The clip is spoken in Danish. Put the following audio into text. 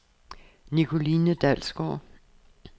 Nicoline Dalsgaard